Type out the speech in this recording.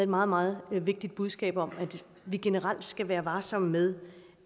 meget meget vigtigt budskab om at vi generelt skal være varsomme med